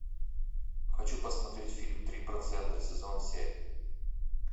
хочу посмотреть фильм три процента сезон семь